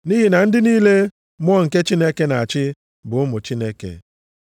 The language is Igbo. Nʼihi na ndị niile Mmụọ nke Chineke na-achị bụ ụmụ Chineke.